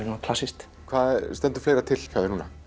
svona klassískt hvað stendur fleira til hjá þér núna